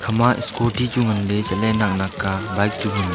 hama scooty chu nganlay chatley nak nak ka bike chu nganley.